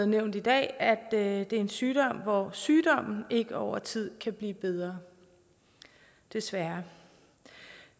nævnt i dag at det er en sygdom hvor sygdommen ikke over tid kan blive bedre desværre